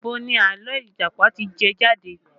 Ibo ni àlọ́ Ìjàpá ti jẹ jáde?